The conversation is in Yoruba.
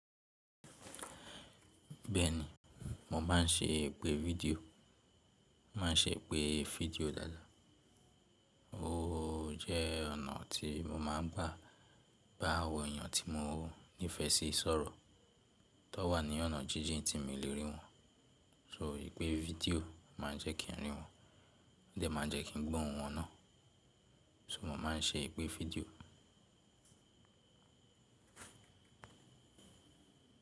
Bẹ́ẹ̀ni, mo má ń ṣe ìpè fídíò, mà á ṣe ìpè fídíò dáadáa. Ó jẹ́ ọ̀nà tí mo má ń gbà bá àwọn èèyàn tí mo nífẹsí sọ̀rọ̀ tó wà ní ọ̀nà jíjìn tí n mi le rí wọn, so ìpè fídíò má a jẹ́ kí n rí wọn, o de má a jẹ́ kí n gbọ́ ohùn wọn náà. So mo má ń ṣe ìpè fídíò.